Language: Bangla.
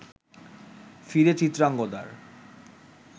ফিরে চিত্রাঙ্গদার